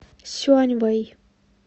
сюаньвэй